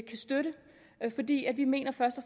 kan støtte vi mener først og